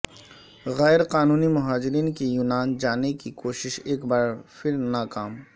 غیر قانونی مہاجرین کی یونان جانے کی کوشش ایک بار پھر ناکام